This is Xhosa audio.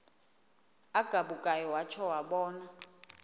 agabukayo watsho wabona